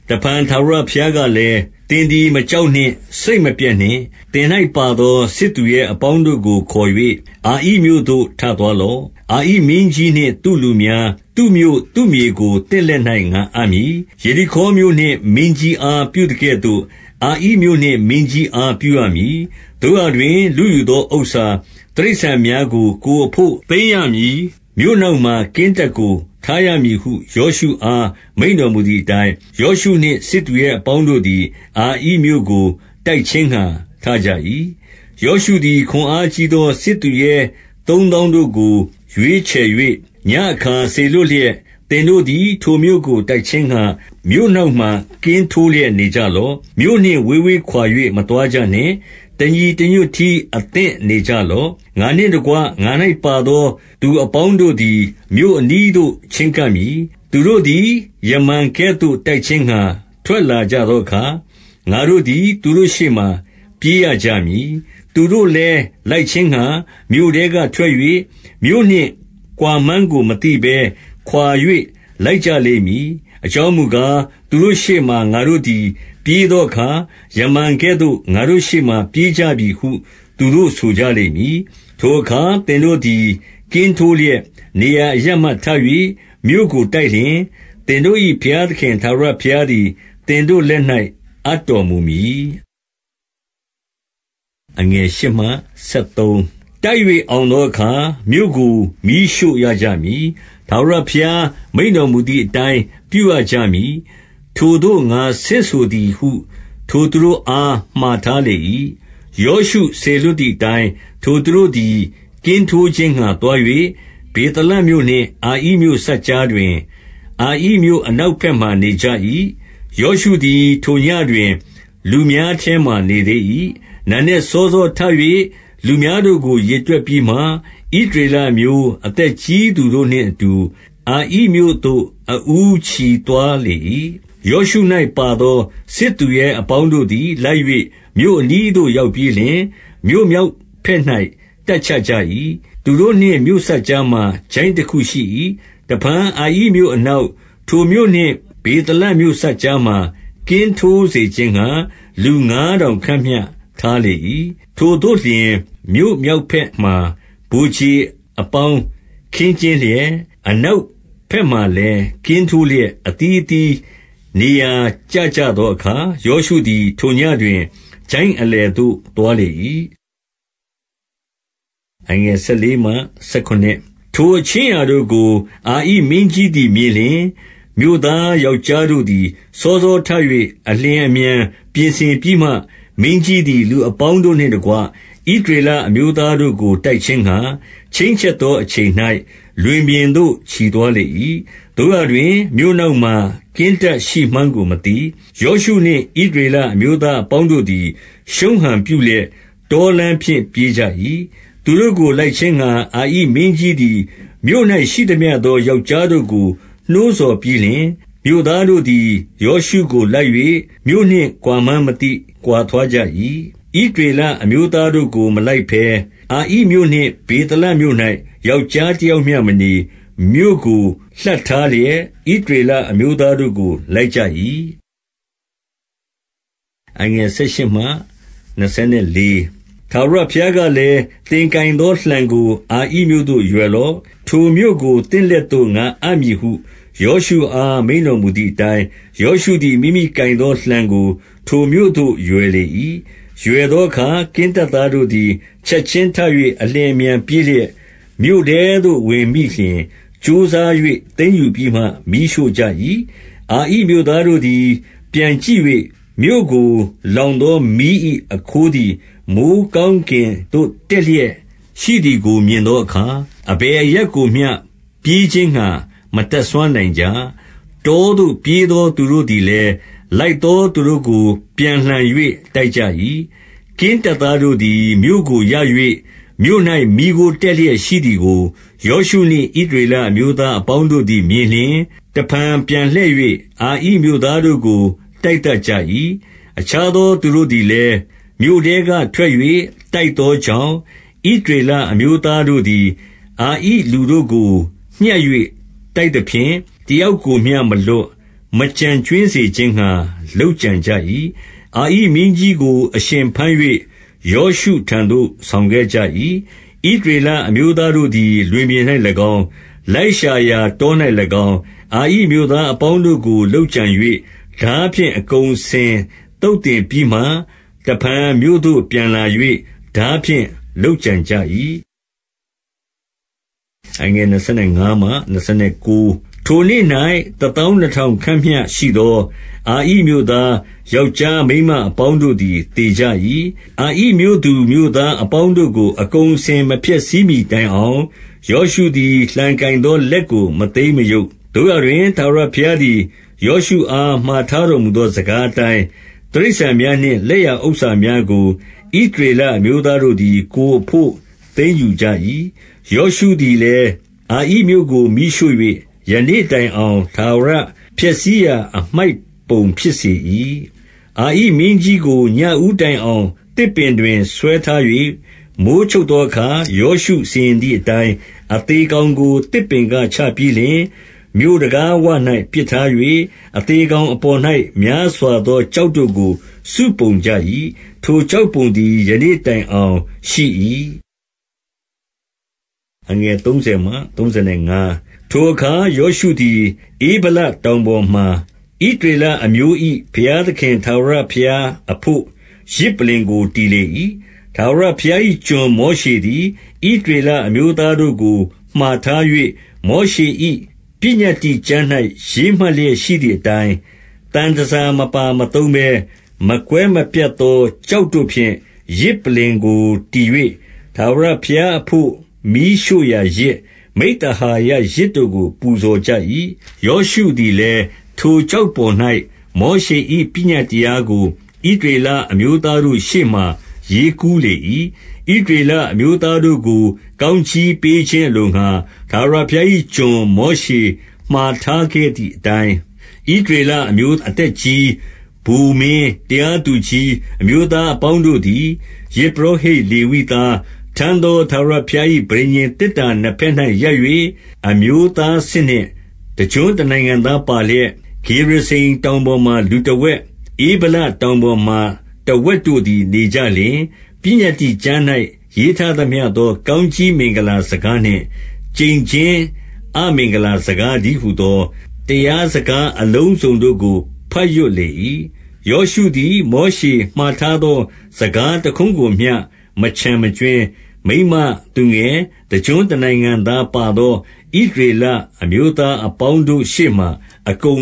တဖန် ထာဝရဘုရားကလည်း၊ သင်သည် မကြောက်နှင့်၊ စိတ်မပျက်နှင့်။ သင်၌ပါသော စစ်သူရဲ အပေါင်းတို့ကို ခေါ်၍ အာဣမြို့သို့ ထသွားလော့။ အာဣ မင်းကြီးနှင့် သူ့လူများ၊ သူ့မြို့၊ သူ့မြေကို သင့်လက်၌ ငါအပ်မည်။ 2 ယေရိခေါမြို့နှင့် မင်းကြီးအား ပြုသကဲ့သို့ အာဣမြို့နှင့် မင်းကြီးအား ပြုရမည်။ သို့ရာတွင် လုယူ သော ဥစ္စာ၊ တိရစ္ဆာန်များကို ကိုယ်အဘို့ သိမ်းရမည်။ မြို့နောက်မှာ ကင်းတပ်ကို ထားရမည်ဟု ယောရှုအား မိန့်တော်မူသည်အတိုင်း၊ 3 ယောရှုနှင့် စစ်သူရဲအပေါင်းတို့သည် အာဣမြို့ ကို တိုက်ခြင်းငှါ ထကြ၏။ ယောရှုသည် ခွန်အားကြီးသော စစ်သူရဲသုံးသောင်းတို့ကို ရွေးချယ်၍ ညဉ့်အခါစေလွှတ် လျက်၊ 4 သင်တို့သည် ထိုမြို့ကို တိုက်ခြင်းငှါ မြို့နောက် မှာ ကင်းထိုလျက်နေကြလော့။ မြို့နှင့်ဝေးဝေးခွာ၍ မသွား ကြနှင့်။ တညီတညွတ်တည်း အသင့်နေကြလော့။ 5 ငါနှင့်တကွ ငါ၌ပါသောသူအပေါင်းတို့သည် မြို့အနီးသို့ ချဉ်းကပ်မည်။ သူတို့သည် ယမန်ကဲ့သို့ တိုက် ခြင်းငှါ ထွက်လာကြသောအခါ၊ ငါတို့သည် သူတို့ရှေ့မှာ ပြေးရကြမည်။ 6 သူတို့လည်း လိုက်ခြင်းငှါ မြို့ထဲကထွက်၍၊ မြို့ နှင့်ကွာမှန်းကိုမသိဘဲ ခွါ၍ လိုက်ကြလိမ့်မည်။ အကြောင်း မူကား၊ သူတို့ရှေ့မှာ ငါတို့သည် ပြေးသောအခါ၊ ယမန်ကဲ့ သို့ ငါတို့ရှေ့မှာ ပြေးကြပြီဟု သူတို့ဆိုကြလိမ့်မည်။ 7 ထိုအခါ သင်တို့သည် ကင်းထိုးလျက် နေရာအ ရပ်မှထ၍ မြို့ကိုတိုက်လျှင်၊ သင်တို့၏ဘုရားသခင် ထာဝရဘုရားသည် သင်တို့လက်၌ အပ်တော်မူမည်။ 8 တိုက်၍ အောင်သောအခါ မြို့ကို မီးရှို့ရကြ မည်။ ထာဝရဘုရားမိန့်တော်မူသည်အတိုင်း ပြုရကြမည်။ ထိုသို့ ငါဆင့်ဆိုသည်ဟု ထိုသူတို့အား မှာထားလေ၏။ 9 ယောရှုစေလွှတ်သည်အတိုင်း၊ ထိုသူတို့သည် ကင်းထိုးခြင်းငှါ သွား၍၊ ဗေသလမြို့နှင့် အာဣမြို့ စပ်ကြားတွင် အာဣမြို့ အနောက်ဘက်မှာ နေကြ၏။ ယောရှုသည် ထိုညဉ့်တွင် လူများထဲမှာနေသေး၏။ 10 နံနက်စောစောထ၍ လူများတို့ကို ရေတွက်ပြီးမှ၊ ဣသရေလအမျိုး အသက်ကြီးသူတို့နှင့်အတူ အာဣမြို့ သို့ အဦးချီသွားလေ၏။ 11 ယောရှု၌ပါသော စစ်သူရဲအပေါင်းတို့သည် လိုက်၍ မြို့အနီးသို့ ရောက်ပြီးလျှင်၊ မြို့မြောက်ဘက်၌ တပ်ချကြ၏။ သူတို့နှင့် မြို့စပ်ကြားမှာ ချိုင့်တခုရှိ၏။ 12 တဖန် အာဣမြို့အနောက်၊ ထိုမြို့နှင့် ဗေသလ မြို့စပ်ကြားမှာ ကင်းထိုးစေခြင်းငှါ လူငါးထောင်ခန့်မျှ ထားလေ၏။ 13 ထိုသို့လျှင်၊ မြို့မြောက်ဘက်မှာ ဗိုလ်ခြေအပေါင်း ခင်းကျင်းလျက်၊ အနောက်ဘက်မှာလည်း ကင်းထိုးလျက်၊ အသီးသီး နေရာကျကြသောအခါ၊ ယောရှုသည် ထိုညဉ့် တွင် ချိုင့်အလယ်သို့ သွားလေ၏။ 14 ထိုအခြင်းအရာတို့ကို အာဣမင်းကြီးသည် မြင် လျှင်၊ မြို့သားယောက်ျားတို့သည် စောစောထ၍ အလျင် အမြန်ပြင်ဆင်ပြီးမှ၊ မင်းကြီးသည် လူအပေါင်းတို့နှင့်တကွ ဣသရေလအမျိုးသားတို့ကို တိုက်ခြင်းငှါ၊ ချိန်းချက်သော အချိန်၌ လွင်ပြင်သို့ ချီသွားလေ၏။ သို့ရာတွင် မြို့နောက် မှာ ကင်းတပ်ရှိမှန်းကို မသိ။ 15 ယောရှုနှင့်ဣသရေလ အမျိုးသားအပေါင်းတို့ သည် ရှုံးဟန်ပြုလျက် တောလမ်းဖြင့် ပြေးကြ၏။ 16 သူတို့ကို လိုက်ခြင်းငှါ၊ အာဣမင်းကြီးသည် မြို့၌ ရှိသမျှသော ယောက်ျားတို့ကို နှိုးဆော်ပြီးလျှင်၊ မြို့သားတို့ သည် ယောရှုကိုလိုက်၍၊ မြို့နှင့်ကွာမှန်းမသိ ခွါသွားကြ၏။ 17 ဣသရေလအမျိုးသားတို့ကို မလိုက်ဘဲ၊ အာဣ မြို့နှင့် ဗေသလမြို့၌ ယောက်ျားတယောက်မျှ မနေ၊ မြို့ကို လှပ်ထားလျက် ဣသရေလအမျိုးသားတို့ကို လိုက် ကြ၏။ 18 ထာဝရဘုရားကလည်း၊ သင်ကိုင်သောလှံကို အာဣမြို့သို့ ရွယ်လော့။ ထိုမြို့ကို သင့်လက်သို့ ငါအပ် မည်ဟု ယောရှုအား မိန့်တော်မူသည်အတိုင်း၊ ယောရှု သည် မိမိကိုင်သောလှံကို ထိုမြို့သို့ရွယ်လေ၏။ 19 ရွယ်သောအခါ၊ ကင်းတပ်သားတို့သည် ချက် ခြင်းထ၍ အလျင်အမြန်ပြေးလျက် မြို့ထဲသို့ဝင်မိလျှင်၊ ကြိုးစား၍ သိမ်းယူပြီးမှ မီးရှို့ကြ၏။ 20 အာဣမြို့သားတို့သည် ပြန်ကြည့်၍၊ မြို့ကို လောင်သော မီး၏အခိုးသည် မိုဃ်းကောင်းကင်သို့ တက် လျက်ရှိသည်ကို မြင်သောအခါ၊ အဘယ်အရပ်ကိုမျှ ပြေး ခြင်းငှါ မတတ်စွမ်းနိုင်ကြ။ တောသို့ပြေးသောသူတို့သည် လည်း လိုက်သောသူတို့ကို ပြန်လှန်၍ တိုက်ကြ၏။ 21 ကင်းတပ်သားတို့သည် မြို့ကိုရ၍ မြို့၌ မီးခိုး တက်လျက် ရှိသည်ကို ယောရှုနှင့် ဣသရေလအမျိုးသား အပေါင်းတို့သည် မြင်လျှင်၊ တဖန် ပြန်လှည့်၍ အာဣမြို့ သားတို့ကို တိုက်သတ်ကြ၏။ 22 အခြားသောသူတို့သည်လည်း မြို့ထဲကထွက်၍ တိုက်သောကြောင့် ဣသရေလအမျိုးသားတို့သည် အာဣ လူတို့ကို ညှပ်၍ တိုက်သဖြင့် တယောက်ကိုမျှမလွှတ် မကျန်ကြွင်းစေခြင်းငှါ လုပ်ကြံကြ၏။ 23 အာဣမင်းကြီးကို အရှင်ဘမ်း၍ ယောရှုထံသို့ ဆောင်ခဲ့ကြ၏။ 24 ဣသရေလအမျိုးသားတို့သည် လွင်ပြင်၌၎င်း၊ လိုက်ရှာရာ တော၌၎င်း၊ အာဣမြို့သားအပေါင်းတို့ကို လုပ်ကြံ၍ ထားဖြင့် အကုန်အစင်သုတ်သင်ပြီးမှ၊ တဖန် မြို့သို့ပြန်လာ၍ ထားဖြင့် လုပ်ကြံကြ၏။ 25 ထိုနေ့၌ တသောင်းနှစ်ထောင်ခန့်မျှ ရှိသော အာဣမြို့သား ယောက်ျားမိန်းမအပေါင်းတို့သည် သေကြ ၏။ 26 အာဣမြို့သူမြို့သား အပေါင်းတို့ကို အကုန်အ စင် မဖျက်ဆီးမှီတိုင်အောင် ယောရှုသည် လှံကိုင်သော လက်ကို မသိမ်းမရုပ်။ 27 သို့ရာတွင် ထာဝရဘုရားသည် ယောရှုအား မှာ ထားတော်မူသော စကားအတိုင်း၊ တိရစ္ဆာန်များနှင့် လက် ရဥစ္စာများကို၊ ဣသရေလအမျိုးသားတို့သည် ကိုယ်အဘို့ သိမ်းယူကြ၏။ 28 ယောရှုသည်လည်း အာဣမြို့ကို မီးရှို့၍၊ ယနေ့ တိုင်အောင် ထာဝရဖျက်ဆီးရာ အမှိုက်ပုံ ဖြစ်စေ၏။ 29 အာဣမင်းကြီးကို ညဦးတိုင်အောင် သစ်ပင် တွင် ဆွဲထား၍၊ မိုဃ်းချုပ်သောအခါ၊ ယောရှုစီရင်သည် အတိုင်း၊ အသေကောင်ကို သစ်ပင်ကချပြီးလျှင် မြို့တံခါး ဝ၌ ပစ်ထား၍၊ အသေကောင်အပေါ်၌ များစွာသော ကျောက်တို့ကို စုပုံကြ၏။ ထိုကျောက်ပုံသည် ယနေ့တိုင် အောင်ရှိ၏။ 30 ထိုအခါ ယောရှုသည်၊ ဧဗလတောင်ပေါ်မှာ ဣသရေလအမျိုး၏ ဘုရားသခင် ထာဝရဘုရားအဘို့၊ ယဇ်ပလ္လင်ကို တည်လေ၏။ 31 ထာဝရဘုရား၏ ကျွန်မောရှေသည်၊ ဣသရေ လအမျိုးသားတို့ကို မှာထား၍ မောရှေ၏ ပညတ္တိကျမ်း၌ ရေးမှတ်လျက်ရှိသည်အတိုင်း၊ သံတန်ဆာမပါမသုံးဘဲ မကွဲမပြတ်သော ကျောက်တို့ဖြင့် ယဇ်ပလ္လင်ကို တည်၍၊ ထာဝရဘုရားအဘို့ မီးရှို့ရာယဇ်၊ မိဿဟာယ ယဇ်တို့ကို ပူဇော်ကြ၏။ 32 ယောရှုသည်လည်း၊ ထိုကျောက်ပေါ်၌ မောရှေ ၏ ပညတ်တရားကို ဣသရေလအမျိုးသားတို့ရှေ့မှာ ရေးကူးလေ၏။ 33 ဣသရေလအမျိုးသားတို့ကို ကောင်းကြီးပေး ခြင်း အလိုငှါ၊ ထာဝရဘုရား၏ကျွန် မောရှေမှာထားခဲ့ သည်အတိုင်း၊ ဣသရေလအမျိုး အသက်ကြီး၊ ဗိုလ်မင်း၊ တရားသူကြီး အမျိုးသားအပေါင်းတို့သည်၊ ယဇ်ပုရော ဟိတ် လေဝိသားထမ်းသော ထာဝရဘုရား၏ ပဋိညာဉ် သေတ္တာနှစ်ဘက်၌ ရပ်၍၊ အမျိုးသားစစ်နှင့် တကျွန်းနိုင် ငံသားပါလျက်၊ ဂေရဇိမ်တောင်ပေါ်မှာ လူတဝက်၊ ဧဗလ တောင်ပေါ်မှာ တဝက်တို့သည် နေကြလျှင်၊ 34 ပညတ္တိကျမ်း၌ ရေးထားသမျှသော ကောင်းကြီး မင်္ဂလာစကားနှင့် ကျိန်ခြင်းအမင်္ဂလာစကား တည်းဟူ သော တရားစကားအလုံးစုံတို့ကို ဘတ်ရွတ်လေ၏။ 35 ယောရှုသည် မောရှေမှာထားသော စကားတ ခွန်းကိုမျှ မချန်မထား၊ မိန်းမ၊ သူငယ်၊ တကျွန်းနိုင်ငံသား ပါသော ဣသရေလအမျိုးသား ပရိတ်သတ်အပေါင်းတို့ ရှေ့မှာ အကု